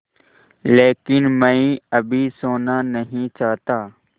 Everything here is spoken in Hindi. लेकिन मैं अभी सोना नहीं चाहता